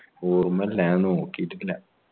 ഓർമ്മയില്ല ഞാൻ നോക്കീട്ടില്ല